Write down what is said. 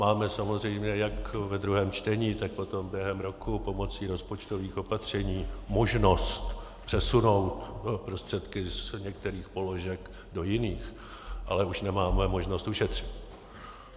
Máme samozřejmě jak ve druhém čtení, tak potom během roku pomocí rozpočtových opatření možnost přesunout prostředky z některých položek do jiných, ale už nemáme možnost ušetřit.